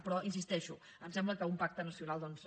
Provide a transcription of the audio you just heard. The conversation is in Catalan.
però hi insisteixo em sembla que un pacte nacional doncs